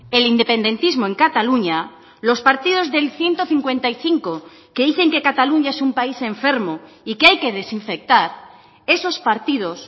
el independentismo en cataluña los partidos del ciento cincuenta y cinco que dicen que cataluña es un país enfermo y que hay que desinfectar esos partidos